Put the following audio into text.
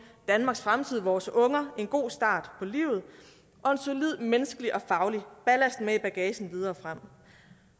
danmarks fremtid vores unger en god start på livet og en solid menneskelig og faglig ballast med i bagagen videre frem